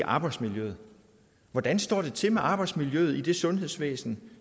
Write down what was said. arbejdsmiljøet hvordan står det til med arbejdsmiljøet i det sundhedsvæsen